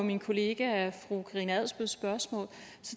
min kollega fru karina adsbøls spørgsmål